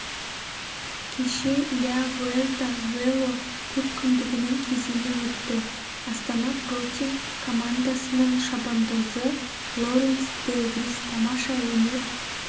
кеше ля вуэльта велокөпкүндігінің кезеңі өтті астана про тим командасының шабандозы лоуренс де вриз тамаша өнер